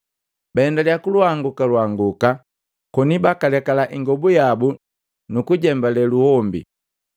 Baendaliya kulwanguka lwanguka koni bakalekala ingobu yabu nuku jembelee luhombi.